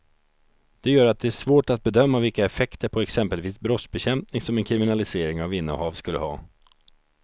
Det gör att det är svårt att bedöma vilka effekter på exempelvis brottsbekämpning som en kriminalisering av innehav skulle ha.